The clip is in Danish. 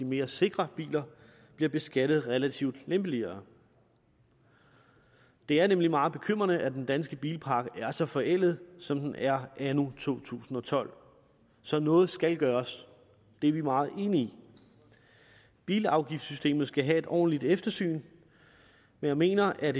mere sikre biler bliver beskattet relativt lempeligere det er nemlig meget bekymrende at den danske bilpark er så forældet som den er anno to tusind og tolv så noget skal gøres det er vi meget enige i bilafgiftssystemet skal have et ordentligt eftersyn men jeg mener at